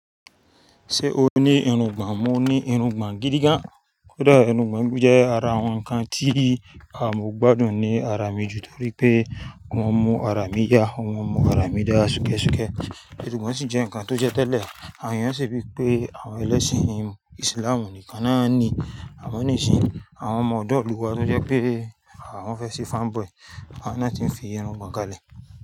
Ṣé o ní irungbọ̀n? Mo ní irungbọ̀n gidi gan. Kódà irungbọ̀n jẹ́ ara àwọn nǹkan tí à mọ́ gbádùn ní ara mi jù torí pé wọ́n mú ara mi yá, wọ́n mú ara mi dá ṣúkẹ́ ṣúkẹ́. Ṣùgbọ́n ṣì jẹ́ nǹkan tó jẹ́ tẹ́lẹ̀. Àyàn ṣe wípé àwọn ẹlẹ́sìn ìsìlámù nìkan ni wón ní í. Àwọn oníṣìn, àwọn ọmọ ọ̀dọ́ ìlú wa tí ó jẹ́ pé àwọn fẹ́ ṣe fanboy, àwọn náà tí n fi irungbọ̀n ka lẹ̀